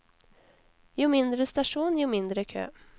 Jo mindre stasjon, jo mindre kø.